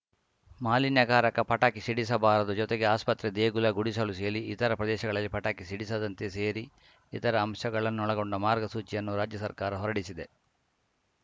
ಮಾಲಿನ್ಯಕಾರಕ ಪಟಾಕಿ ಸಿಡಿಸಬಾರದು ಜೊತೆಗೆ ಆಸ್ಪತ್ರೆ ದೇಗುಲ ಗುಡಿಸಲು ಸೇಲಿ ಇತರ ಪ್ರದೇಶಗಳಲ್ಲಿ ಪಟಾಕಿ ಸಿಡಿಸದಂತೆ ಸೇರಿ ಇತರ ಅಂಶಗಳನ್ನೊಳಗೊಂಡ ಮಾರ್ಗಸೂಚಿಯನ್ನು ರಾಜ್ಯ ಸರ್ಕಾರ ಹೊರಡಿಸಿದೆ